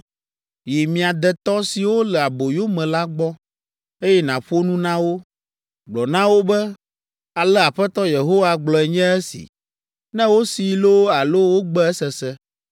Yi mia detɔ siwo le aboyo me la gbɔ, eye nàƒo nu na wo. Gblɔ na wo be, ‘Ale Aƒetɔ Yehowa gblɔe nye esi,’ ne wosee loo alo wogbe esese.”